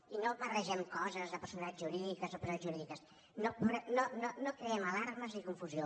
i no barregem coses de personalitats jurídiques o no personalitats jurídiques no creem alarmes ni confusió